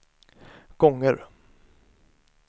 gånger